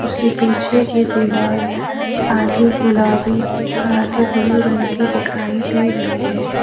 उसके पीछे की दीवाल आधी गुलाबी और आधी ब्लू रंग की दिखाई दे रही है।